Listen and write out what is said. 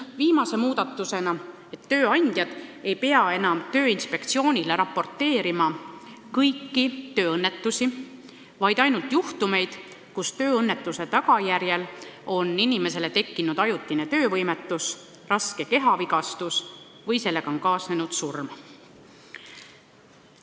Viimane muudatus, tööandjad ei pea enam Tööinspektsioonile raporteerima kõikidest tööõnnetustest, vaid ainult juhtumitest, kus tööõnnetuse tagajärjel on inimesel tekkinud ajutine töövõimetus, raske kehavigastus või on sellega kaasnenud surm.